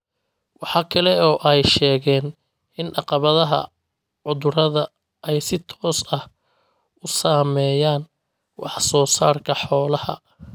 Waxa kale oo ay sheegeen in caqabadaha cudurrada ay si toos ah u saameeyaan wax-soo-saarka xoolaha.